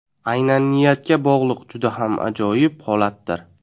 Aynan niyatga bog‘liq juda ham ajoyib holatdir.